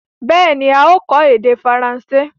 Bẹ́ẹ̀ni, a ó kọ́ èdè faransé.